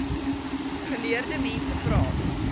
geleerde mense praat